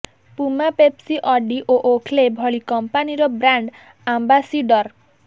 Puma Pepsi Audi ଓ Oakley ଭଳି କମ୍ପାନିର ବ୍ରାଣ୍ଡ ଆମ୍ବାସିଡର